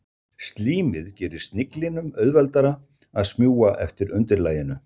Slímið gerir sniglinum auðveldara að smjúga eftir undirlaginu.